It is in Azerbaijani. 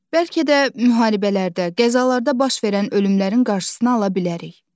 Bəlkə də müharibələrdə, qəzalarda baş verən ölümlərin qarşısını ala bilərik.